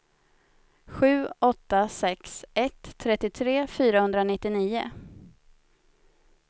sju åtta sex ett trettiotre fyrahundranittionio